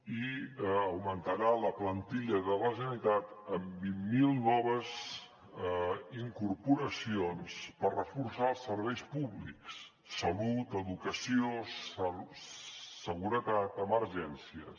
i augmentarà la plantilla de la generalitat amb vint mil noves incorporacions per reforçar els serveis públics salut educació seguretat emergències